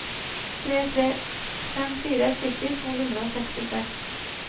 tre tre fem fire sytti to hundre og sekstiseks